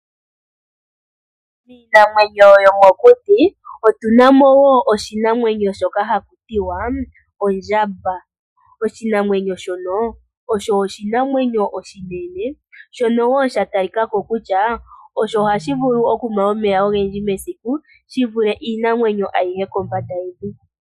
Miinamwenyo yomokuti otuna mo wo oshinamwenyo shoka hashi ithanwa ondjamba. Oshinamwenyo shono osho oshinamwenyo oshinene shono wo sha talika ko kutya osho hashi vulu okunwa omeya ogendji mesiku